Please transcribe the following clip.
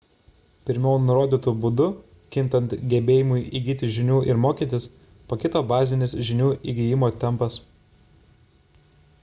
pirmiau nurodytu būdu kintant gebėjimui įgyti žinių ir mokytis pakito bazinis žinių įgijimo tempas